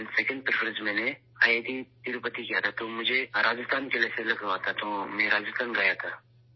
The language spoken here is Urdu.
دوسری ترجیح میں نے آئی آئی ٹی تروپتی کو دی تھی تو میں راجستھان کے لیے سلیکٹ ہوا اور میں راجستھان گیا تھا